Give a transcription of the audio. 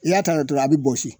I y'a ta tɔla a be bɔsi.